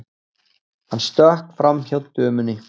Hann stökk framhjá dömunni.